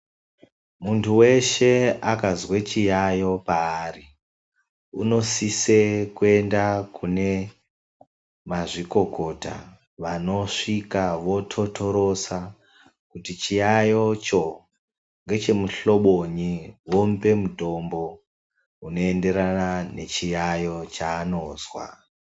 Munthu weshe akazwa chiyaeyo paari anosisa kuenda kuchibhedhlera kunavanamazvikokota vanosvika vototorosa kuti chiyaeyocho ndechemuhlobo nyii, womupa mutombo unoenderana nechiyaeyo chaanozwa.